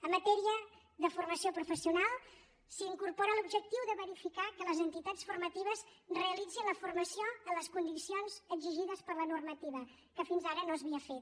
en matèria de formació professional s’incorpora l’objectiu de verificar que les entitats formatives realitzin la formació en les condicions exigides per la normativa que fins ara no s’havia fet